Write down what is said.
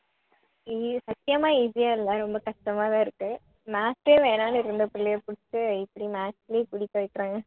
உம் சத்தியமா easy ஆ இல்ல ரொம்ப கஷ்டமா தான் இருக்கு maths ஏ வேணான்னு இருந்த பிள்ளைய பிடிச்சி இப்படி maths லயே வைக்கறாங்க